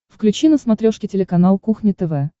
включи на смотрешке телеканал кухня тв